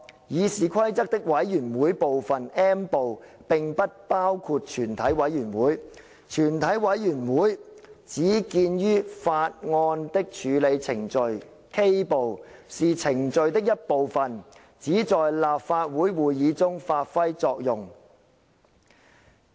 《議事規則》的'委員會'部分，並不包括全體委員會；全體委員會只見於'法案的處理程序'，是程序的一部分，只在立法會會議中發揮作用......